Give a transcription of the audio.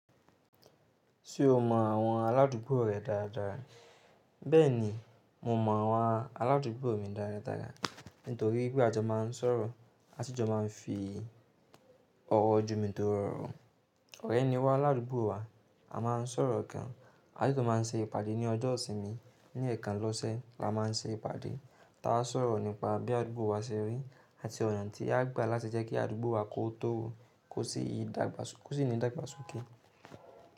Ṣé o mọ àwọn aládùúgbò rẹ dáadáa? Bẹ́ẹ̀ni, mo mọ àwọn aládúgbò mi dáradára nítorí wipe a jo máa ń sọ̀rọ̀, a sì jọ máa ń fi oro jomitoro oro. Ọ̀rẹ́ ni wá ládùgbò wa, a máa ń sọ̀rọ̀ gan, a sì tún máa ń ṣe ìpàdé ní ọjọ́ ìsinmi. Ní ẹ̀ẹ̀kan lọ́sẹ̀ la máa ń ṣe ìpàdé, tá a sọ̀rọ̀ nípa bí àdúgbò wa ṣe rí àti ọ̀nà tí a gbà láti jẹ́ kí àdúgbò wa kó tórò kó sì ní ìdàgbàsókè.